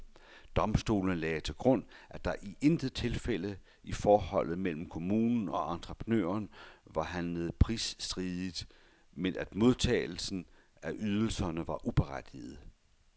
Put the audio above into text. Domstolene lagde til grund, at der i intet tilfælde i forholdet mellem kommunen og entreprenøren var handlet pligtstridigt, men at modtagelsen af ydelserne var uberettiget.